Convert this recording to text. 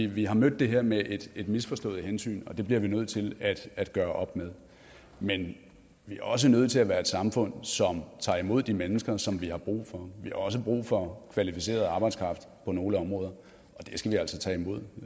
vi har mødt det her med et misforstået hensyn og det bliver vi nødt til at gøre op med men vi er også nødt til at være et samfund som tager imod de mennesker som vi har brug for vi har også brug for kvalificeret arbejdskraft på nogle områder og den skal vi altså tage imod